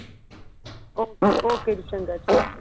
okay ਜੀ ਚੰਗਾਂ ਜੀ